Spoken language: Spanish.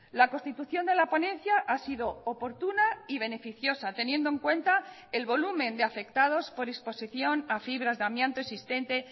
la constitución de la ponencia ha sido oportuna y beneficiosa teniendo en cuenta el volumen de afectados por exposición a fibras de amianto existente